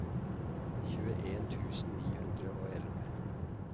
tjueen tusen ni hundre og elleve